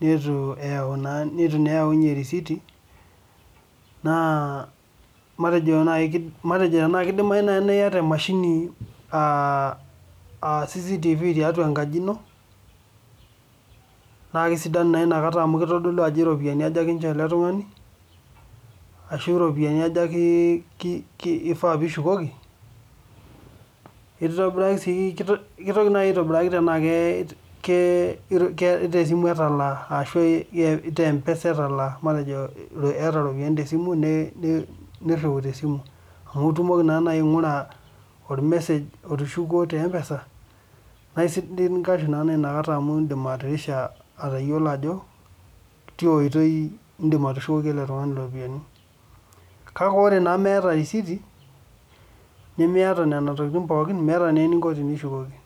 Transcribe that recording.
neitu naa eyaunyie erisiti naa matejo tenaa keidimayu nayii niyata emashini aa cctv tiatua enkaji ino naa kesidanu nayii ina kata amu keitidolu ajo irropiyiani aja kinchoo ele tung'ani ashuu irropiyiani aja eifa piishukoki? keitobiraki sii keitoki nayii aitobiraki tenaa kee tesimu etalaa ashuu tee mpesa etalaa matejo iyata irropiyiani tesimu neirriu tesimu amu itumoki naa nayii aing'ura ormesej otushukuo tee mpesa naa esidai ninkashu naa nayi ina kata amu iindim atirisha atayiolo ajo tia oitoi iindim atushukoki ele tung'ani irropiyiani kake ore naa meeta erisiti nimiata nena tokiting' pookin meeta naa eninko peeishukoki.